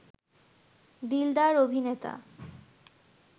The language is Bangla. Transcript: দিলদার অভিনেতা